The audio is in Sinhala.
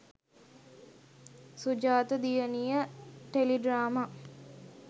sujatha diyaniya tele drama